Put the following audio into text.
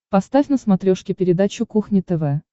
поставь на смотрешке передачу кухня тв